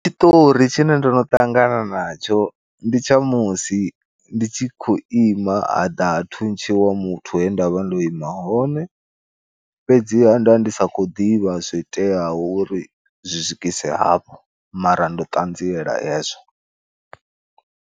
Tshiṱori tshine ndono ṱangana natsho ndi tsha musi ndi tshi khou ima ha ḓa ha thuntshiwa muthu he ndavha ndo ima hone, fhedziha nda ndi sa khou ḓivha zwoiteaho uri zwi swikise hafho mara ndo ṱanziela hezwo.